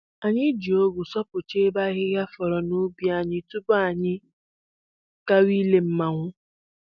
Anyị ji ọgụ sọpụcha ebe ahịhịa fọrọ n'ubi tupu anyị gawa ile mmanwụ